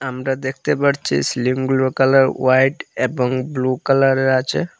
আমরা দেখতে পারছি সিলিংগুলোর কালার হোয়াইট এবং ব্লু কালারের আছে।